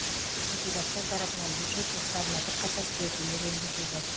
депутаттар тарапынан бюджет жоспарына бірқатар түзетулер енгізілді